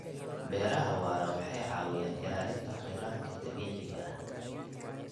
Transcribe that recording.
Beeraha waara waxay caawiyaan ilaalinta khayraadka dabiiciga ah.